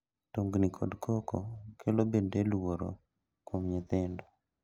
Tungni kod koko kelo bende luoro kuom nyithindo.